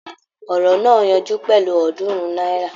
Ọ̀rọ̀ náà yanjú pẹ̀lú Ọ̀ọ́dúnrún náírà